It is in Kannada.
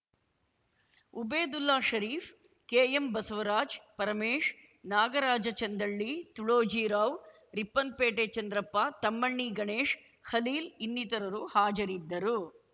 ಉಬೇದುಲ್ಲ ಷರೀಫ್‌ ಕೆಎಂ ಬಸವರಾಜ್‌ ಪರಮೇಶ್‌ ನಾಗರಾಜಚಂದಳ್ಳಿ ತುಳೋಜಿರಾವ್‌ ರಿಪ್ಪನ್‌ಪೇಟೆ ಚಂದ್ರಪ್ಪ ತಮ್ಮಣ್ಣಿ ಗಣೇಶ್‌ ಖಲೀಲ್‌ ಇನ್ನಿತರರು ಹಾಜರಿದ್ದರು